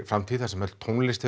framtíð þar sem öll tónlist